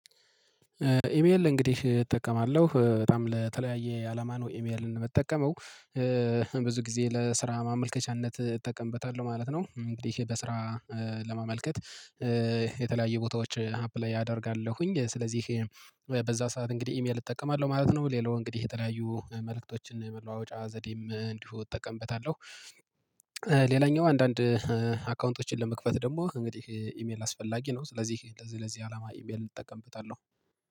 ኢሜል እንግዲህ እጠቀማለሁ በጣም ለተለያየ አላማ ነው ኢሜልን የምጠቀመው። ብዙ ጊዜ ለስራ ማመልከቻነት እጠቀምበታለሁ ማለት ነው። እንግዲህ በስራ ለማመልከት የተለያየ ቦታዎች አፕላይ አደርጋለሁኝ። ስለዚህ በዛ ሰዓት እንግዲህ ኢሜል እጠቀማለሁ ማለት ነው። ሌላው እንግዲህ የተለያዩ መልእክቶችን መለዋወጫ ዘዴም እንዲሁ እጠቀምበታለሁ። ሌላኛው አንዳንድ አካውንቶችን ለመክፈት ደግሞ እንግዲህ ኢሜል አስፈላጊ ነው። ስለዚህ ለዚህ ለዚህ አላማ ኢሜል እጠቀምበታለሁ